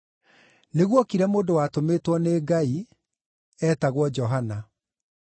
Nĩguokire mũndũ watũmĩtwo nĩ Ngai; eetagwo Johana.